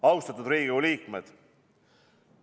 Austatud Riigikogu liikmed!